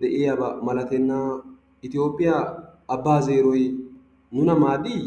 de'iyaba malatenna. Itoophphiyaa abbaa zeeroy nuuna maaddii?